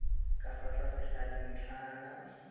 ka fa tlase ga dintlhana